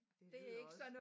Det lyder også